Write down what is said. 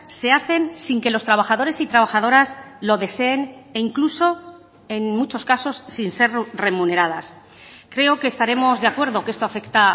se hacen sin que los trabajadores y trabajadoras lo deseen e incluso en muchos casos sin ser remuneradas creo que estaremos de acuerdo que esto afecta